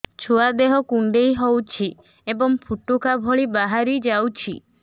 ଛୁଆ ଦେହ କୁଣ୍ଡେଇ ହଉଛି ଏବଂ ଫୁଟୁକା ଭଳି ବାହାରିଯାଉଛି